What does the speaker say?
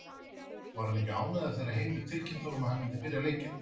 Var hann ekki ánægður þegar Heimir tilkynnti honum að hann myndi byrja leikinn?